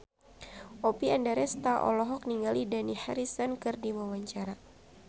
Oppie Andaresta olohok ningali Dani Harrison keur diwawancara